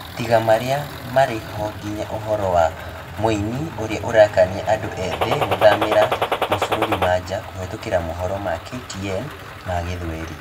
Tiga marĩa mari ho nginya uhoro wa mũini ũrĩa ũrakania andũ ethĩ gũthamĩrĩ ma bũrũri ma nja kũhitũkĩra mohoro ma KTN ma gĩthweri